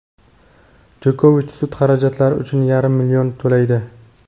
Jokovich sud xarajatlari uchun yarim million to‘laydi.